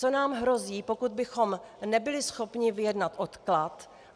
Co nám hrozí, pokud bychom nebyli schopni vyjednat odklad?